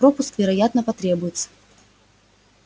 пропуск вероятно потребуется